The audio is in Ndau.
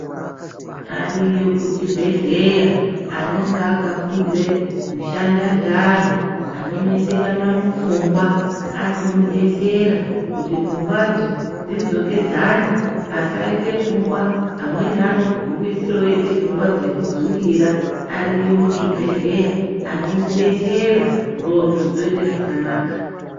Ariyo kuchibhehleya anonga akafundire kushanda ngeanhu anonesekana mupfungwa anomudesera kuti pfungwadzo dzidzokedzane asaita pfungwa amweni anogumisira oita pfungwa dzekudzungira ariyo muzvibhehleya anomudesera ndxondo dzoite zvakanaka.